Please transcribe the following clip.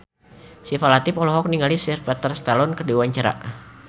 Syifa Latief olohok ningali Sylvester Stallone keur diwawancara